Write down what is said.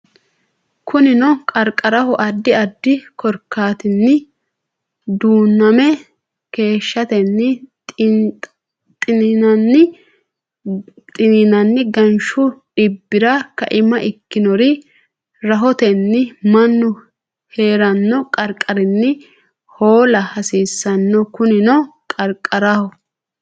Kunino qarqaraho addi addi korkaatinni duuname keeshshatenni xiniinanni ganshu dhibbira kaima ikkannore rahotenni mannu hee ranno qarqarinni hoola hasiissanno Kunino qarqaraho.